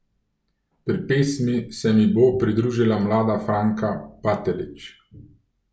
Pri pesmi se mi bo pridružila mlada Franka Batelić.